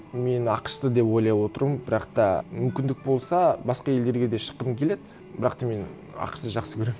мен ақш ты деп ойлап отырмын бірақ та мүмкіндік болса басқа елдерге де шыққым келеді бірақ та мен ақш ты жақсы көремін